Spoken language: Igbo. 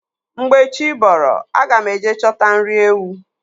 Mgbe chi bọrọ aga m eje chọta nri ewu.